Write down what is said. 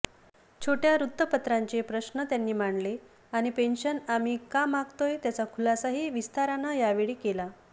छोटया वृत्तपत्रांचे प्रश्न त्यांनी मांडले आणि पेन्शन आम्ही का मागतोय त्याचा खुलासाही विस्तारानं यावेळी केला